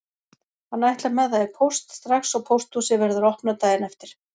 Hann ætlar með það í póst strax og pósthúsið verður opnað daginn eftir.